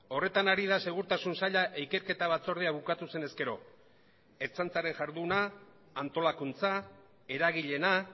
horretan ari da segurtasun saila ikerketa batzordea bukatu zen ezkero ertzaintzaren jarduna antolakuntza eragileena